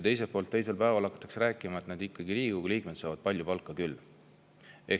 Aga teisel päeval hakatakse rääkima, et näed, Riigikogu liikmed saavad ikka palju palka küll.